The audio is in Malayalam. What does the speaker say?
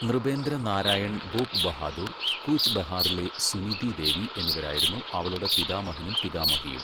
നൃപേന്ദ്ര നാരായൺ ഭൂപ് ബഹാദൂർ, കൂച്ച് ബെഹാറിലെ സുനിതി ദേവി എന്നിവരായിരുന്നു അവളുടെ പിതാമഹനും പിതാമഹിയും.